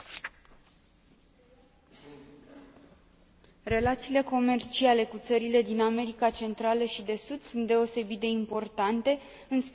Relațiile comerciale cu țările din America Centrală și de Sud sunt deosebit de importante, în special în contextul creșterii economice din regiune.